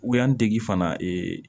Wa n dege fana